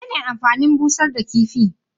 Menene amfanin busar da kifi?